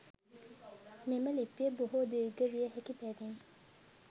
මෙම ලිපිය බොහෝ දීර්ඝ විය හැකි බැවින්